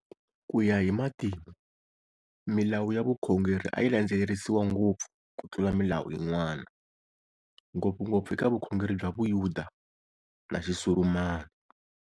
Kuya hi matimu, Milawu ya vukhongeri a yilandzelerisiwa ngopfu ku tlula milawu yin'wana, ngopfungopfu eka vukhongeri bya Xiyuda na Xisurumani.